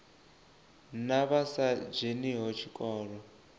na vha sa dzheniho tshikolo